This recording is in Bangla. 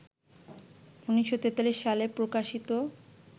১৯৪৩ সালে প্রকাশিত